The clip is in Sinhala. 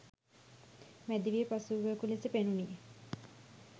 මැදිවිය පසුවූවකු ලෙස පෙනුණි.